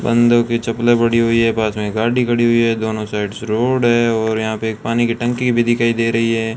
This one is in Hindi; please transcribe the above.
बंदों के चप्पले पड़ी हुई है पास में गाड़ी खड़ी हुई है दोनों साइड से रोड है और यहां पे एक पानी की टंकी भी दिखाई दे रही है।